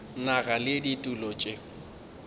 nago le ditulo tše di